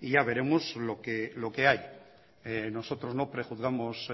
y ya veremos lo que hay nosotros no prejuzgamos